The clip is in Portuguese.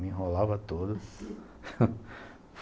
Me enrolava todo,